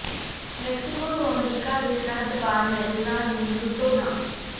Mexico ਤੋਂ ਅਮਰੀਕਾ ਦੇ ਸਰਹੱਦ ਪਾਰ ਮੈਰਿਜਾਂ ਨੂੰ ਲੁੱਟੋ ਨਾ